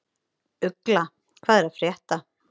Ugla, hvað er að frétta?